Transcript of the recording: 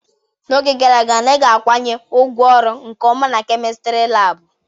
N'oge gara aga anaghị akwanye ngwaọrụ nke ọma na kemịstri laabụ.